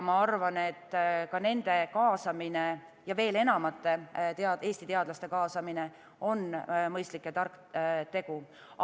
Ma arvan, et ka nende kaasamine ja veel enamate Eesti teadlaste kaasamine on mõistlik ja tark tegu.